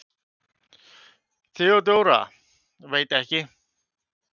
THEODÓRA: Veit ekki!